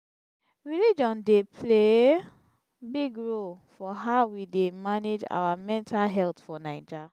religion dey play big role for how we dey manage our mental health for naija.